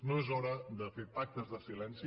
no és hora de fer pactes de silenci